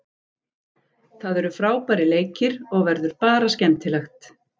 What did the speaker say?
Það eru frábærir leikir og verður bara skemmtilegt.